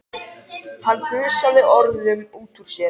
Hann gusaði orðunum út úr sér.